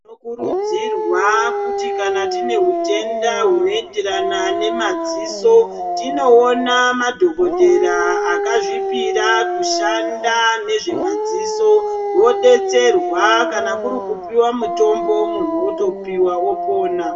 Tinokurudzirwa kuti kanatine hutenda hunoenderana nemadziso tinoona madhokodheya akazvipira kushanda nezvemadziso vodetserwa kana kurikupiwa mutombo munhu otopiwa otopona.